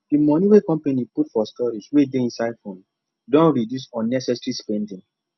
the money wey company put for storage wey dey inside phone don reduce unnecessary spending